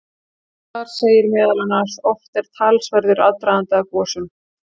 Þar segir meðal annars: Oft er talsverður aðdragandi að gosum.